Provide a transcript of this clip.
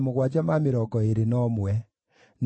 na Gazamu, na Uza, na Pasea,